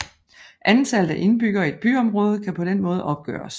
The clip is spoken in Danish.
Antallet af indbyggere i et byområde kan på den måde opgøres